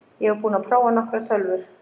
Ég er búinn að prófa nokkrar tölvur.